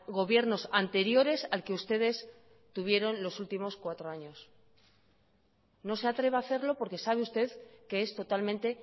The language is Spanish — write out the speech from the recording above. gobiernos anteriores al que ustedes tuvieron los últimos cuatro años no se atreva a hacerlo porque sabe usted que es totalmente